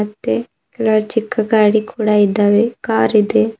ಮತ್ತೆ ಎಲ್ಲ ಚಿಕ್ಕ ಗಾಡಿ ಕೂಡ ಇದ್ದಾವೆ ಕಾರ್ ಇದೆ.